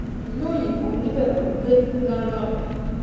ìlú òyìnbó níbẹ ló ń gbé ní london